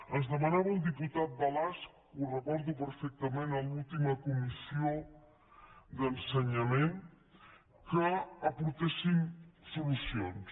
ens demanava el diputat balasch ho recordo perfectament a l’última comissió d’ensenyament que aportéssim solucions